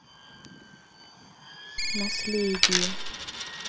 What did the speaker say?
наследие